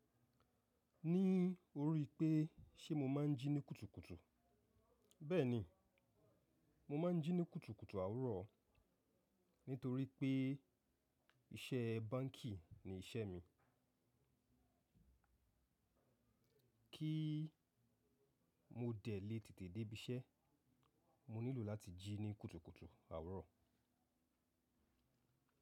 Ní orí i pé ṣe mo máa ń jí ní kùtùkùtù, bẹ́ẹ̀ni, mo máa ń jí ní kùtùkùtù àwuro nítorí pé iṣẹ́ báǹkì ni iṣẹ́ mi. Kí mo dẹ̀ le tètè dé ibi iṣẹ́, mo nílò láti jí ní kùtùkùtù àwuro.